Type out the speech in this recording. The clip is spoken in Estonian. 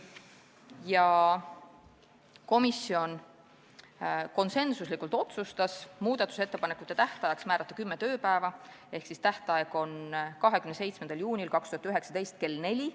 Komisjon otsustas konsensusega muudatusettepanekute tähtajaks määrata kümme tööpäeva ehk siis tähtaeg on 27. juunil 2019 kell 16.